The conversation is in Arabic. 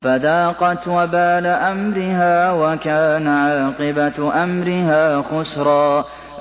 فَذَاقَتْ وَبَالَ أَمْرِهَا وَكَانَ عَاقِبَةُ أَمْرِهَا خُسْرًا